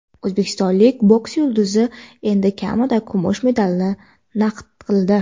O‘zbekistonlik boks yulduzi endi kamida kumush medalni naqd qildi.